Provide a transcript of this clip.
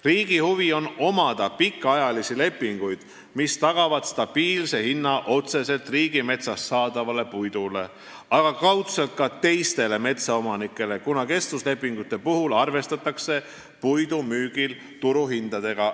Riigi huvi on omada pikaajalisi lepinguid, mis tagavad stabiilse hinna otseselt riigimetsast saadavale puidule, aga kaudselt ka teistele metsaomanikele, kuna kestvuslepingute puhul arvestatakse puidu müügil turuhindadega.